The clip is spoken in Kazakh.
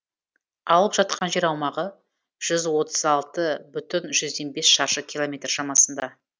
алып жатқан жер аумағы жүз отыз алты бүтін жүзден бес шаршы километр шамасында